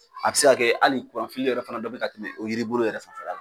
A bi se kɛ hali yɛrɛ fana dɔ bina tɛmɛ o yiribolo yɛrɛ fanfɛla la